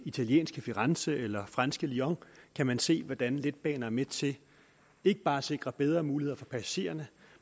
italienske firenze eller franske lyon kan man se hvordan letbaner er med til ikke bare at sikre bedre muligheder for passagererne